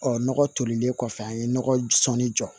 Ɔ nɔgɔ tolilen kɔfɛ an ye nɔgɔ sɔnni jɔ